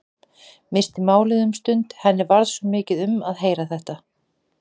Missti málið um stund, henni varð svo mikið um að heyra þetta.